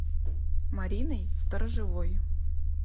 мариной сторожевой